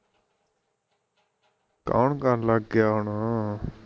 ਕੋਣ ਕਰਣ ਲੱਗ ਗਿਆ ਹੁਣ